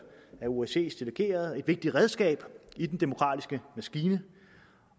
osces delegerede og er et vigtigt redskab i den demokratiske maskine